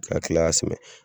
Ka kila ka